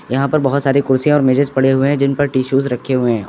यहां पर बहोत सारी कुर्सी और मेजेज पड़े हुए हैं जिन पर टिशूज रखे हुए हैं औ--